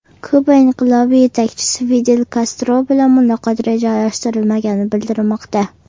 Kuba inqilobi yetakchisi Fidel Kastro bilan muloqot rejalashtirilmagani bildirilmoqda.